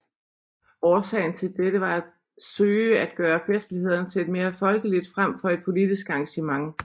Årsagen til dette var at søge at gøre festlighederne til et mere folkeligt frem for et politisk arrangement